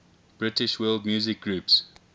british world music groups